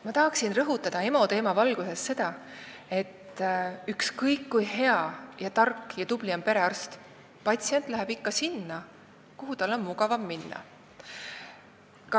Ma tahaksin rõhutada EMO teema valguses seda, et ükskõik kui hea, tark ja tubli on perearst, patsient läheb ikka sinna, kuhu tal on mugavam minna.